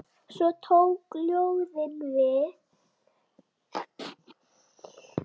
Svo tóku ljóðin við.